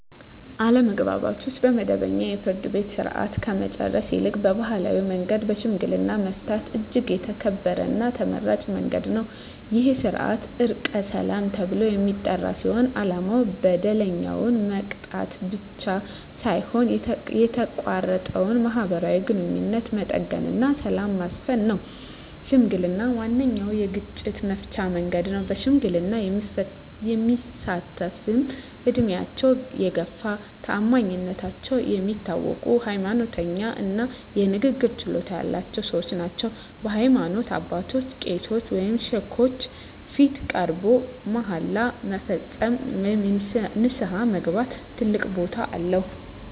አለመግባባቶችን በመደበኛው የፍርድ ቤት ሥርዓት ከመጨረስ ይልቅ በባሕላዊ መንገድ በሽምግልና መፍታት እጅግ የተከበረና ተመራጭ መንገድ ነው። ይህ ሥርዓት "ዕርቀ ሰላም" ተብሎ የሚጠራ ሲሆን፣ ዓላማው በደለኛውን መቅጣት ብቻ ሳይሆን የተቋረጠውን ማኅበራዊ ግንኙነት መጠገንና ሰላምን ማስፈን ነው። ሽምግልና ዋነኛው የግጭት መፍቻ መንገድ ነው። በሽምግልና የሚሳተፍትም ዕድሜያቸው የገፋ፣ በታማኝነታቸው የሚታወቁ፣ ሃይማኖተኛ እና የንግግር ችሎታ ያላቸው ሰዎች ናቸው። በሃይማኖት አባቶች (ቄሶች ወይም ሼኮች) ፊት ቀርቦ መሃላ መፈጸም ወይም ንስሐ መግባት ትልቅ ቦታ አለው።